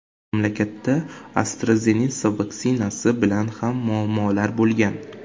Mamlakatda AstraZeneca vaksinasi bilan ham muammolar bo‘lgan.